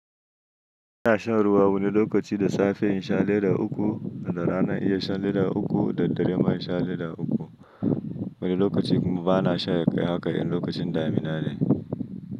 Ina shan ruwa wani lokaci da safe in sha leda uku, da rana iya shan leda uku, da dare ma in sha leda uku. Wani lokaci kuma bana sha ya kai haka in lokacin damina ne.